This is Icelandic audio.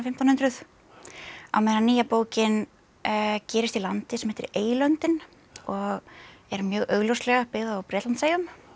hundruð á meðan nýja bókin gerist í landi sem heitir eylöndin og er mjög augljóslega byggð á Bretlandseyjum